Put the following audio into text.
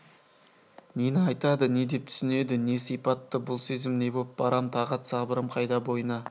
нені айтады не деп түсінеді не сипатты бұл сезім не боп барам тағат сабырым қайда бойына